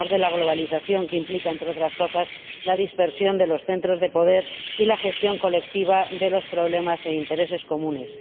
Por mor de la globalización, que implica, entre otras cosas, la dispersión de los centros de poder y la gestión colectiva de los problemas e intereses comunes.